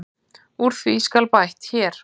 Úr því skal bætt hér.